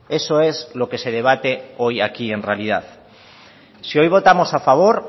eso es lo que se debate hoy aquí en realidad si hoy votamos a favor